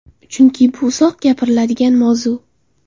Chunki bu uzoq gapiriladigan mavzu.